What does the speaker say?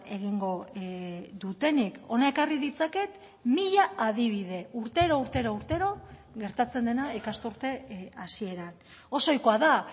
egingo dutenik hona ekarri ditzaket mila adibide urtero urtero urtero gertatzen dena ikasturte hasieran oso oikoa da